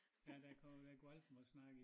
Ja der kommet der er gået alt for meget snak i